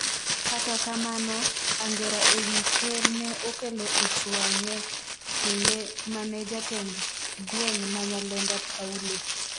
kata kamano, angera e wi ker ne okelo ich wang' e kinde mane jatend gweng' ma Nyalenda Paulo